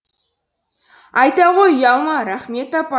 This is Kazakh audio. айта ғой ұялма рахмет апа